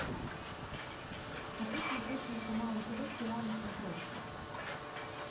хочу смотреть телеканал нтв сериал на смотрешке